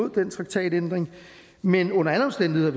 den traktatændring men under alle omstændigheder